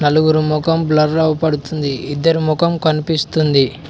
నలుగురు మొఖం బ్లర్ అవుపడుతుంది ఇద్దరి ముఖం కనిపిస్తుంది